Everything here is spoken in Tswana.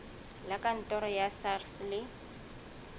la kantoro la sars le